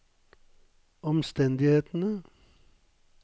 omstendighetene